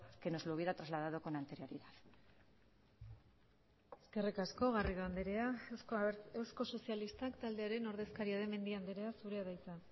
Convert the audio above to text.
que nos lo hubiera trasladado con anterioridad eskerrik asko garrido andrea eusko sozialistak taldearen ordezkaria den mendia andrea zurea da hitza